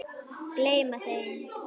Gleyma þeim.